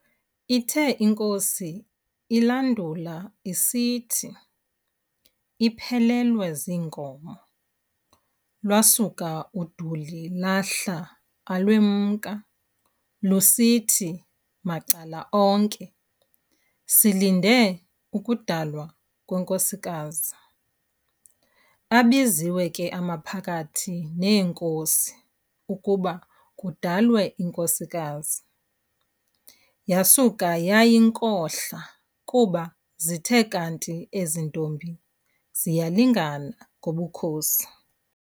ithe inkosi ilandula isithi iphelelwe ziinkomo, lwasuka uduli lahla alwemka, lusithi, macalana onke, "Silinde ukudalwa kwenkosikazi. Abiziwe ke amaphakathi neenkosi ukuba kudalwe inkosikazi, uasuka yayinkohla kuba zithe kanti ezi ntombi ziyalingana ngobukhosi.